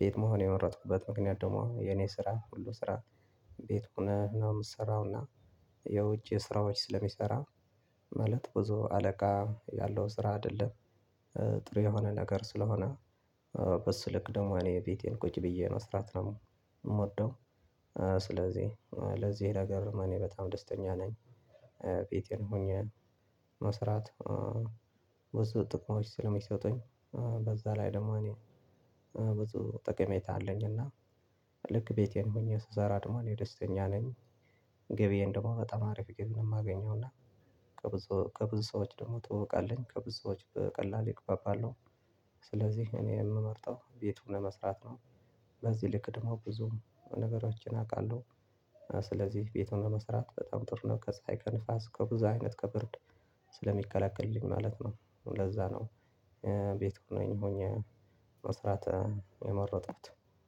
ቤት መሆን የመረጥኩበት ምክንያት ደግሞ የኔ ስራ ሁሉ ስራ ቤት ሆነ ነው ምሰራዉና። የውጭ ስራዎች ስለሚሰራ ማለት ብዙ አለቃ ያለው ስራ አይደለም። ጥሩ የሆነ ነገር ስለሆነ። በስልክ ደግሞ እኔ ቤቴ ቁጭ ብዬ መስራት ነው የምወደው። ስለዚህ ለዚህ ነገር እኔ በጣም ደስተኛ ነኝ። ቤቴ ሆኜ መስራት ብዙ ጥቅሞች ስለሚሰጡኝ። በዛ ላይ ደግሞ እኔ ብዙ ጥቅሜታ አለኝ እና ልክ ቤቴ ሆኜ ስሰራ ደግሞ እኔ የደስተኛ ነኝ። ገብዬን ደግሞ በጣም አሪፍ ገቢ ነው የማገኘው እና ከብዙ ከብዙ ሰዎች ደግሞ ትዉዉቅ አለኝ ከብዙ ሰዎች በቀላሉ እግባባለው። ስለዚህ እኔ የምመርጠው ቤት ሆነ መስራት ነው። በዚህ ልክ ደግሞ ብዙ ነገሮችን አውቃለሁ። ስለዚህ ቤትሆኖ መስራት በጣም ጥሩ ነው ከፀሀይ ከንፋስ ከብዙ አይነት ከብርድ ስለሚከለክልልኝ ማለት ነው። ለዛ ነው ቤት ነኝ ሆኜ መስራት የመረጥኩት